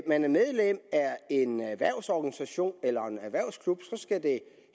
man er medlem af en erhvervsorganisation eller en erhvervsklub skal det